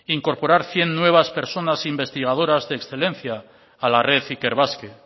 incorporar cien nuevas personas investigadoras de excelencia a la red ikerbasque